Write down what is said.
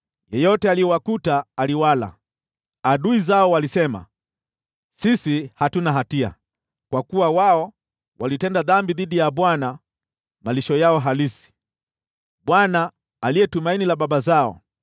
Yeyote aliyewakuta aliwala; adui zao walisema, ‘Sisi hatuna hatia, kwa kuwa wao walitenda dhambi dhidi ya Bwana , malisho yao halisi, Bwana , aliye tumaini la baba zao.’